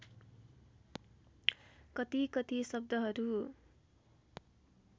कति कति शब्दहरू